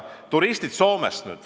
Nüüd turistid Soomest.